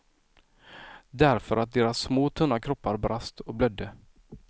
Därför att deras små tunna kroppar brast och blödde.